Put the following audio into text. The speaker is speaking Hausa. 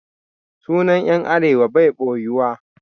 Sunan 'yan Arewa bai ɓoyuwa